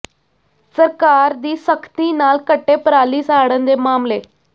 ਸਰਕਾਰ ਦੀ ਸਖ਼ਤੀ ਨਾਲ ਘਟੇ ਪਰਾਲੀ ਸਾੜਨ ਦੇ ਮਾਮਲੇ